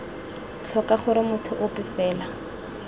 tlhoka gore motho ope fela